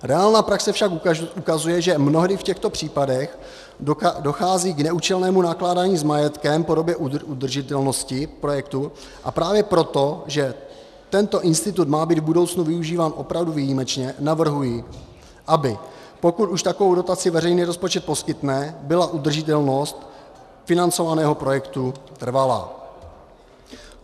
Reálná praxe však ukazuje, že mnohdy v těchto případech dochází k neúčelnému nakládání s majetkem v podobě udržitelnosti projektu, a právě proto, že tento institut má být v budoucnu využíván opravdu výjimečně, navrhuji, aby pokud už takovou dotaci veřejný rozpočet poskytne, byla udržitelnost financovaného projektu trvalá.